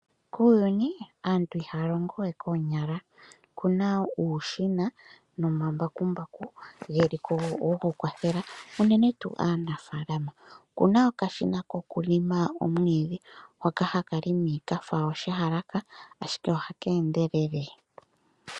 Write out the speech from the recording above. Kuuyuni aantu ihaya longo we koonyala okuna uushina nomambakumbaku geliko goku kwatela unene aanafaalama. Okuna okashina koku longa omwiidhi hoka haka longo kafa oshiyalaka ashike ohaka endelele